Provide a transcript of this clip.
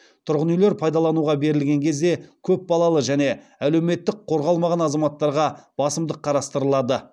тұрғын үйлер пайдалануға берілген кезде көпбалалы және әлеуметтік қорғалмаған азаматтарға басымдық қарастырылады